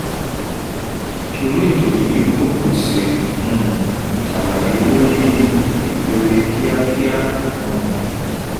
b) irú ètò yìí kò pèsè um àlàyé lórí ipele kíákíá um